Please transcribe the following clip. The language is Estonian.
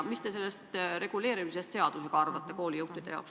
Ja mis te sellest seadusega reguleerimisest arvate?